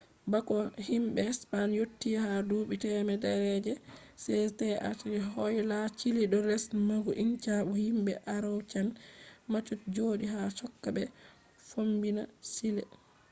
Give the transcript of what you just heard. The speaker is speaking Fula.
bako himbe spain yotti ha duubi temere je 16th woyla chile do les lamu inca bo himbe araucan mapuche jodi ha chaka be fombina chile